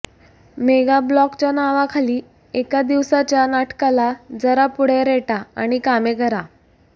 मेगाब्लॉकच्या नावाखाली एका दिवसाच्या नाटकाला जरा पुढे रेटा आणि कामे करा